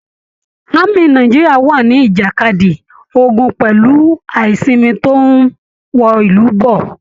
Ámì Nàìjíríà wà nijakadi ogun pẹ̀lú aisinmi tó n wọ ìlú bọ́.